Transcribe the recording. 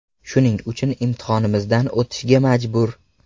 Shuning uchun imtihonimizdan o‘tishga majbur.